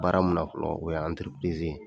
Baara min na fɔlɔ o ye